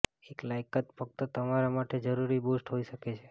એક લાયકાત ફક્ત તમારા માટે જરૂરી બુસ્ટ હોઈ શકે છે